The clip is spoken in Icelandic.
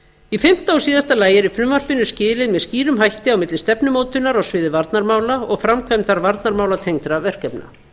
í fimmta og síðasta lagi er í frumvarpinu skilið með skýrum hætti á milli stefnumótunar á sviði varnarmála og framkvæmdar varnarmálatengdra verkefna